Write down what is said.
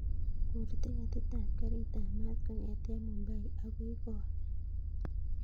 Kur tiketit ap karit ap maat kongeten mumbai akoi goa